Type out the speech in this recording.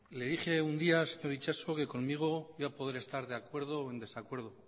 le dije un día itxaso que conmigo iba a poder estar de acuerdo o en desacuerdo